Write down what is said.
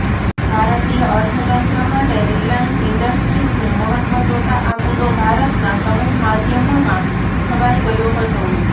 ભારતીય અર્થતંત્ર માટે રીલાયન્સ ઈન્ડસ્ટ્રીઝનું મહત્વ જોતાં આ મુદ્દો ભારતના સમૂહમાધ્યમોમાં છવાઈ ગયો હતો